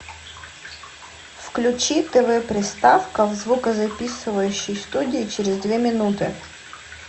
включи тв приставка в звукозаписывающей студии через две минуты